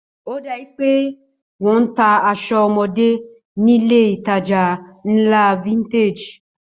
Ó dàbí ẹni pé wọ́n ń ta aṣọ ọmọdé nílé-ìtajà ńlá Vintage